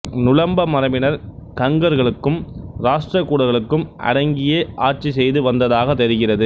நுளம்ப மரபினர் கங்கர்களுக்கும் ராட்டிரகூடர்களுக்கும் அடங்கியே ஆட்சிசெய்து வந்ததாகத் தெரிகிறது